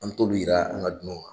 An mi t'olu yira an ka dunanw na.